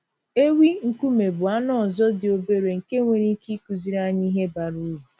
Ewi nkume bụ anụ ọzọ dị obere nke nwere ike ịkụziri anyị ihe bara uru.